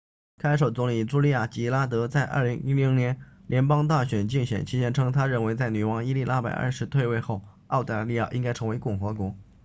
看守总理朱莉娅吉拉德在2010年联邦大选竞选期间称她认为在女王伊丽莎白二世退位后澳大利亚应该成为共和国